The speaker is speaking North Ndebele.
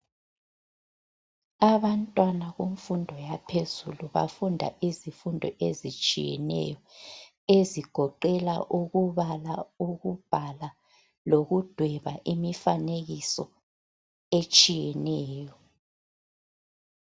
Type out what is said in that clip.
Abantwana kumfundo yaphezulu bafunda izifundo ezitshiyeno ezigoqela ukubala ukubhala lokudweba imifanekiso etshiyeneyo.